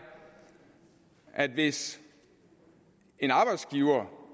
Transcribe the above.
at hvis en arbejdsgiver